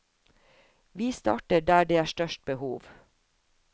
Vi starter der det er størst behov.